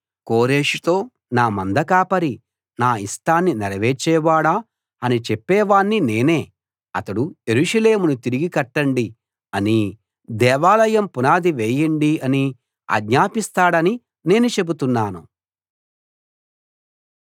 కోరెషుతో నా మందకాపరీ నా ఇష్టాన్ని నెరవేర్చేవాడా అని చెప్పేవాణ్ణి నేనే అతడు యెరూషలేమును తిరిగి కట్టండి అనీ దేవాలయం పునాది వేయండి అనీ ఆజ్ఞాపిస్తాడని నేను చెబుతున్నాను